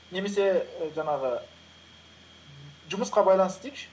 немесе і жаңағы жұмысқа байланысты дейікші